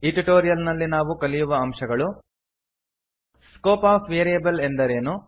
ಈ ಟ್ಯುಟೋರಿಯಲ್ ನಲ್ಲಿ ನಾವು ಕಲಿಯುವ ಅಂಶಗಳು ಸ್ಕೋಪ್ ಆಫ್ ವೇರಿಯೇಬಲ್ ಎಂದರೇನು